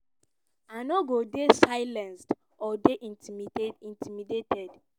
"i no go dey silenced or dey intimidated.